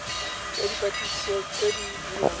ya dipatlisiso tse di dirwang